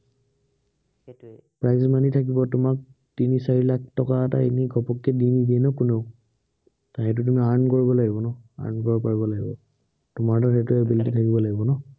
prize money থাকিব তোমাক, তিনি চাৰি লাখ টকা এটা এনেই ঘপহকে দি নিদিয়ে ন কোনেও তাৰ সেইটো তুমি earn কৰিব লাগিব ন, earn কৰিব পাৰিব লাগিব। তোমাৰো সেইটো ability থাকিব লাগিব ন?